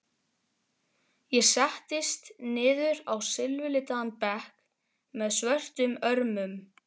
Ég settist niður á silfurlitaðan bekk með svörtum örmum.